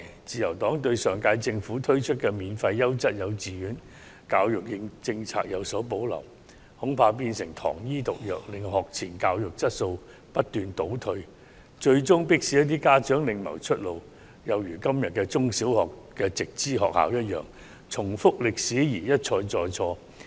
自由黨對上屆政府推出的免費優質幼稚園教育計劃有所保留，恐怕會變成"糖衣毒藥"，令學前教育質素不斷倒退，最終迫使一些家長另謀出路，有如今天的直資中、小學一樣，導致歷史重演，一錯再錯。